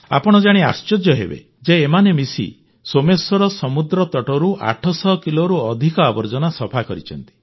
ଆପଣ ଜାଣି ଆଶ୍ଚର୍ଯ୍ୟ ହେବେ ଯେ ଏମାନେ ମିଶି ସୋମେଶ୍ୱର ସମୁଦ୍ରତଟରୁ 800 କିଲୋରୁ ଅଧିକ ଆବର୍ଜନା ସଫା କରିଛନ୍ତି